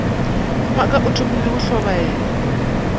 mphaka o thomile go tlhobaela